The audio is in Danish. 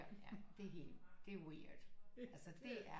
Det er helt det er weird altså det er